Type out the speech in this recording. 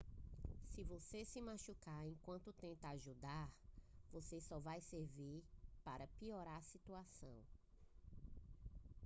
se você se machucar enquanto tenta ajudar você só vai servir para piorar a situação